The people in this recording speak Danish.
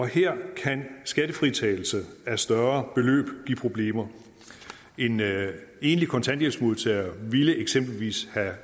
her kan skattefritagelse af større beløb give problemer en enlig kontanthjælpsmodtager ville eksempelvis have